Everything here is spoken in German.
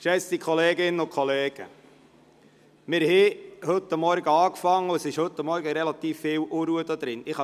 Geschätzte Kolleginnen und Kollegen, seit wir heute Morgen angefangen haben, ist relativ viel Unruhe in diesem Saal.